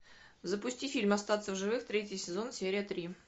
запусти фильм остаться в живых третий сезон серия три